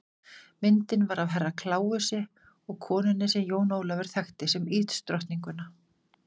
Myndin var af Herra Kláusi og konunni sem Jón Ólafur þekkti sem ísdrottninguna.